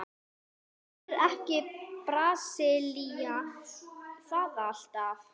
Gerir ekki Brasilía það alltaf?